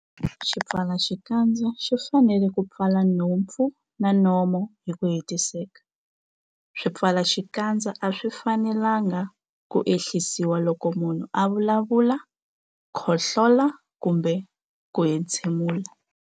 Xipfalaxikandza xi fanele ku pfala nhompfu na nomo hi ku hetiseka. Swipfalaxikandza a swi fanelanga ku ehlisiwa loko munhu a vulavula, khohlola kumbe ku entshemula.